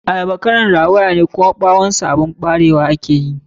Ayaba kalar rawayane, kuma ɓawon su ɓarewa ake yi.